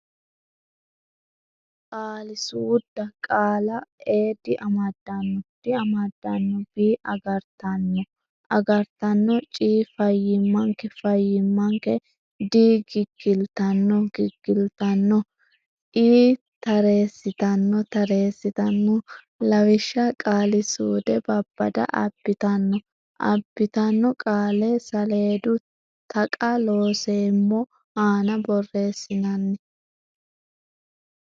Qaalisuudda Qaalla a diamadanno diamadanno b agartanno agartanno c fayyimmanke fayyimmanke d giggiltanno giggiltanno e tareessitanno tareessitanno Lawishsha Qaalisuude Babbada abbitanno abbitanno qaale saleedu Taqa Looseemmo aana borreessinani?